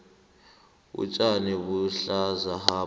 utjani buhlaza hapa